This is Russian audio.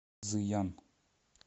цзыян